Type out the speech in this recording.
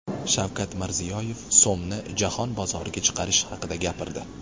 Shavkat Mirziyoyev so‘mni jahon bozoriga chiqarish haqida gapirdi .